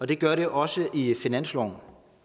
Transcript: det gør det også i finansloven